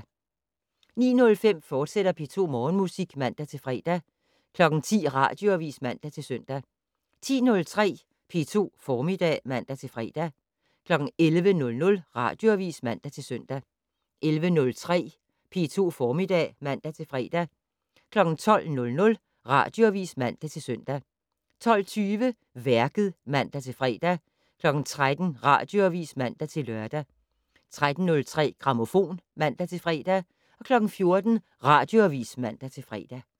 09:05: P2 Morgenmusik, fortsat (man-fre) 10:00: Radioavis (man-søn) 10:03: P2 Formiddag (man-fre) 11:00: Radioavis (man-søn) 11:03: P2 Formiddag (man-fre) 12:00: Radioavis (man-søn) 12:20: Værket (man-fre) 13:00: Radioavis (man-lør) 13:03: Grammofon (man-fre) 14:00: Radioavis (man-fre)